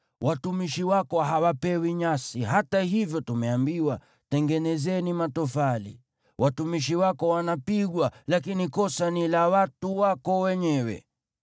Watumishi wako hawapewi nyasi, hata hivyo tumeambiwa, ‘Tengenezeni matofali!’ Watumishi wako wanapigwa, lakini kosa ni la watu wako wenyewe.”